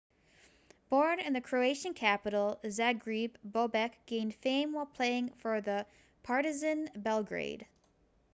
born in the croatian capital zagreb bobek gained fame while playing for partizan belgrade